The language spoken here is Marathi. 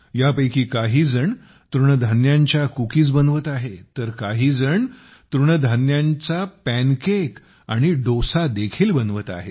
यापैकी काहीजण तृणधान्यांच्या कुकीज बनवत आहेत तर काहीजण तृणधान्यांचा पॅन केक आणि डोसा देखील बनवत आहेत